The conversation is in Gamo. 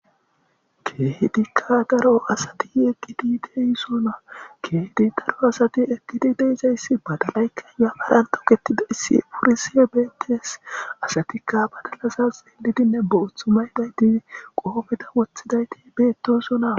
keedikka daro asati eqqidi deysona keedi daro asati eqkidi deyizayssi badalaykka yaamaranto ketida issi purisie beettees asatikka badalaza xeelidinne boothu may daytii qoofeta wothidayti beettoso na